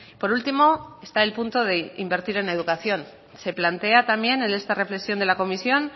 por último está el punto de invertir en educación se plantea también en esta reflexión de la comisión